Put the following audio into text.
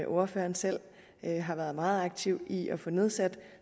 ordføreren selv har været meget aktiv i at få nedsat